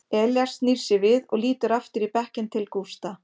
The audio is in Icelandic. Elías snýr sér við og lítur aftur í bekkinn til Gústa.